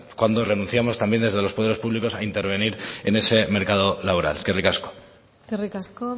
cuando renunciamos también desde los poderes públicos a intervenir en ese mercado laboral eskerrik asko eskerrik asko